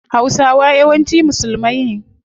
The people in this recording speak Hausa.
Hausawa yawanci musulmai ne